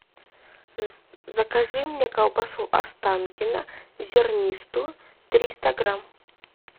закажи мне колбасу останкино зернистую триста грамм